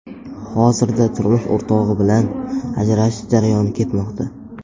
Hozirda turmush o‘rtog‘i bilan ajrashish jarayoni ketmoqda.